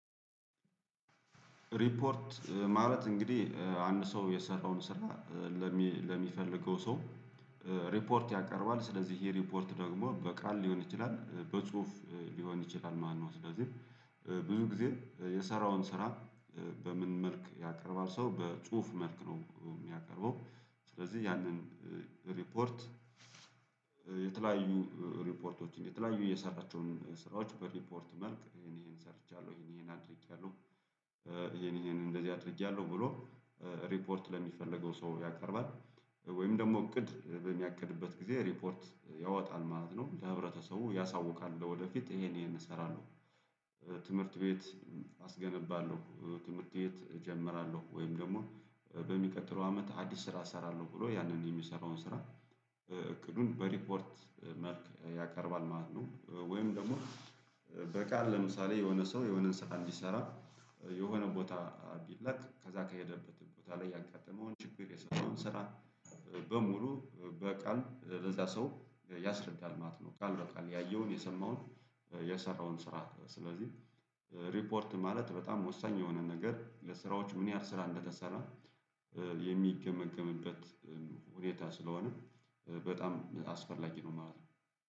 ሪፖርት ማለት እንግዲህ አንድ ሰው የሰራውን ስራ ለሚ ለሚፈልገው ሰው ሪፖርት ያቀርባል። ስለዚህ ይሄ ሪፖርት ደግሞ በቃል ሊሆን ይችላል በጽሁፍ ሊሆን ይችላል ማነው። ስለዚህ ብዙ ጊዜ የሰራውን ስራ በምን መልክ ያቀርባል ሰው በጽሁፍ መልክ ነው የሚያቀርበው። ስለዚህ ያንን ሪፖርት የተለያዩ ሪፖርቶችን የተለያዩ የሰራቸውን ስራዎች በሪፖርት መልክ ይሄን ይሄን ሰርቻለሁ ይሄን ይሄን አድርጌያለሁ ይሄን ይሄን እንደዚህ አድርጌያለሁ ብሎ ሪፖርት ለሚፈለገው ሰው ያቀርባል ወይም ደግሞ እቅድ በሚያቅድበት ጊዜ ሪፖርት ያወጣል ማለት ነው። ለህብረተሰቡ ያሳውቃል። ለወደፊት ይሄን ይሄን እሰራለሁ ትምህርት ቤት አስገነባለሁ ትምህርት ቤት እጀምራለሁ ወይም ደግሞ በሚቀጥለው አመት አዲስ ስራ እሰራለሁ ብሎ ያንን የሚሰራውን ስራ እቅዱን በሪፖርት መልክ ያቀርባል ማለት ነው። ወይም ደግሞ በቃል ለምሳሌ የሆነ ሰው የሆነን ስራን እንዲሰራ የሆነ ቦታ ቢለቅ ከዛ ከሄደበት ቦታ ላይ ያጋጠመውን ችግር የሰራውን ስራ በሙሉ በቃል ለዛ ሰው ያስረዳል ማለት ነው። ቃል በቃል ያየውን የሰማውን የሰራውን ስራ። ስለዚህ ሪፖርት ማለት በጣም ወሳኝ የሆነ ነገር ለስራዎች ምን ያህል ስራ እንደተሰራ የሚገመገምበት ሁኔታ ስለሆነም በጣም አስፈላጊ ነው ማለት ነው።